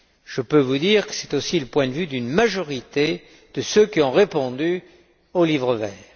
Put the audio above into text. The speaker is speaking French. Je peux vous dire que c'est aussi le point de vue d'une majorité de ceux qui ont répondu au livre vert.